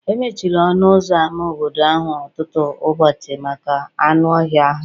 E mechiri ọnụ ụzọ ámá obodo ahụ ọtụtụ ụbọchị maka anụ ọhịa ahụ